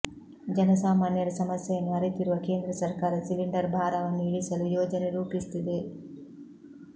ಜನ ಸಾಮಾನ್ಯರ ಸಮಸ್ಯೆಯನ್ನು ಅರಿತಿರುವ ಕೇಂದ್ರ ಸರ್ಕಾರ ಸಿಲಿಂಡರ್ ಭಾರವನ್ನು ಇಳಿಸಲು ಯೋಜನೆ ರೂಪಿಸುತ್ತಿದೆ